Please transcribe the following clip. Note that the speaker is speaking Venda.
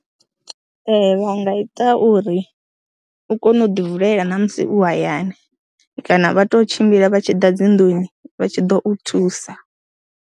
Ee, vha nga ita uri u kone u ḓi vulela na musi u hayani kana vha tou tshimbila vha tshi ḓa dzi nnḓuni vha tshi ḓo u thusa.